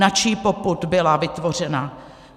Na čí popud byla vytvořena?